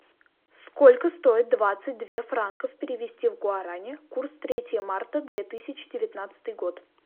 сколько стоит двадцать две франков перевести в гуарани курс третье марта две тысячи девятнадцатый год